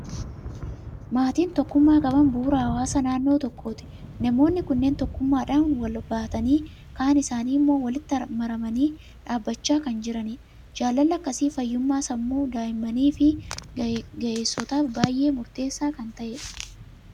Maatiin tokkummaa qaban bu'uura hawaasa naannoo tokkooti. Namoonni kunneen tokkummaadhaan wal baatanii, kaan isaanii immoo walitti marmanii dhaabachaa kan jiranidha. Jaalalli akkasi fayyummaa sammuu daa'immanii fi ga'eessotaaf baay'ee murtessaa kan ta'edha!